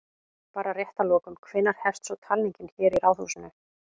Bara rétt að lokum, hvenær hefst svo talning hér í Ráðhúsinu?